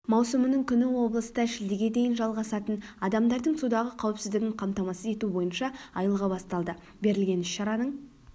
маусымның күні облыста шілдеге дейін жалғасатын адамдардың судағы қауіпсіздігін қамтамасыз ету бойынша айлығы басталды берілген іс-шараның